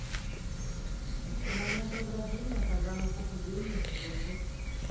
экстремальное преображение программа похудение сезон восемь